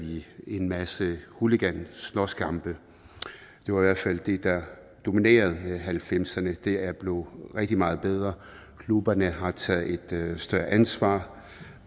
en masse hooliganslåskampe det var i hvert fald det der dominerede nitten halvfemserne det er blevet rigtig meget bedre klubberne har taget et større ansvar